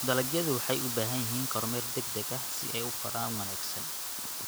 Dalagyadu waxay u baahan yihiin kormeer degdeg ah si ay u koraan wanaagsan.